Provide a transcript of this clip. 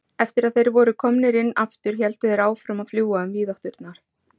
Eftir að þeir voru komnir inn aftur héldu þeir áfram að fljúga um víðátturnar.